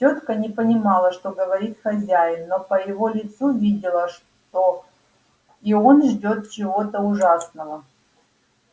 тётка не понимала что говорит хозяин но по его лицу видела что и он ждёт чего-то ужасного